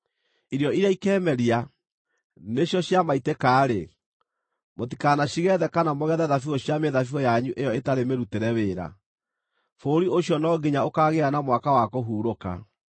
Irio iria ikeemeria, nĩcio cia maitĩka-rĩ, mũtikanacigethe kana mũgethe thabibũ cia mĩthabibũ yanyu ĩyo ĩtarĩ mĩrutĩre wĩra. Bũrũri ũcio no nginya ũkaagĩa na mwaka wa kũhurũka.